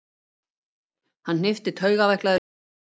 Hann hnippti taugaveiklaður í Stefán.